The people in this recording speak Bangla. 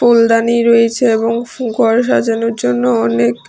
ফুলদানি রয়েছে এবং ঘর সাজানোর জন্য অনেক--